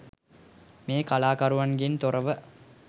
මේ කලාකරුවන්ගෙන් තොරව